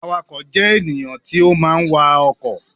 Awakọ̀ jẹ́ ènìyàn tí ó máa ń wa ọkọ̀